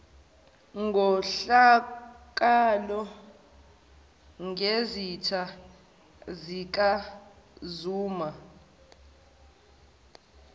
nkohlakalo ngezitha zikazuma